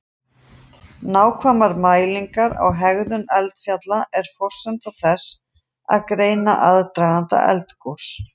Nákvæmar mælingar á hegðun eldfjalla eru forsenda þess að greina aðdraganda eldgos.